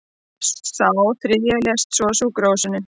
Sá þriðji lést svo á sjúkrahúsi